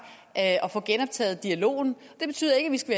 at få genoptaget dialogen det betyder ikke at vi skal